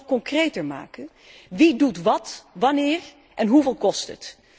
Kunt u dit nog concreter maken? Wie doet wat, wanneer en hoeveel kost het?